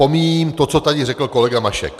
Pomíjím to, co tady řekl kolega Mašek.